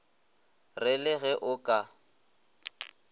re le ge o ka